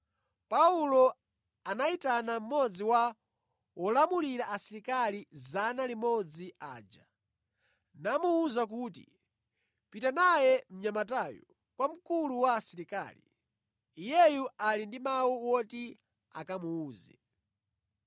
Paulo anayitana mmodzi wa wolamulira asilikali 100 aja, namuwuza kuti, “Pita naye mnyamatayu kwa mkulu wa asilikali. Iyeyu ali ndi mawu oti akamuwuze.”